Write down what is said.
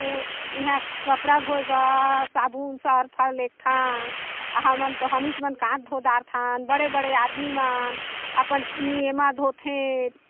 इहा कपड़ा धोये बर साबुन लेगथन हमन तो हमीच मन काच धो डारथन बड़े बड़े आदमी मन अपन एमा धोथे।